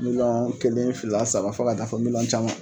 Miliyɔn kelen fila saba fɔ ka taa fɔ miliyɔn caman.